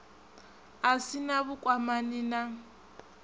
a si na vhukwamani na